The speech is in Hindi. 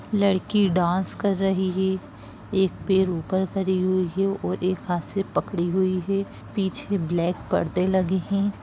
लड़की डांस कर रही है एक पैर ऊपर करी हुई है और एक हाथ से पकड़ी हुई है पीछे ब्लैक परदे लगे है।